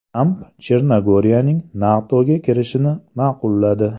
Tramp Chernogoriyaning NATOga kirishini ma’qulladi.